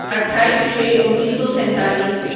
اٹھائیس چھے انیسو سینتالیس